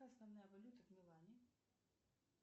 основная валюта в милане